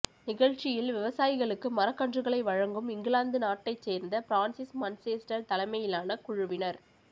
நிகழ்ச்சியில் விவசாயிகளுக்கு மரக்கன்றுகளை வழங்கும் இங்கிலாந்து நாட்டைச் சோ்ந்த பிரான்சிஸ் மன்சேஸ்டா் தலைமையிலான குழுவினா்